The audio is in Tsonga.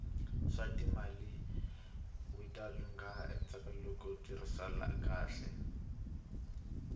swatimali wita lungha ntsena loko yi tirhisiwa kahle